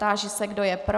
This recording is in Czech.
Táži se, kdo je pro.